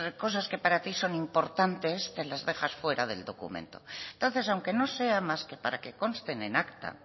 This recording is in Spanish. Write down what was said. cosas que para ti son importantes te las dejas fuera del documento entonces aunque no sea más que para que consten en acta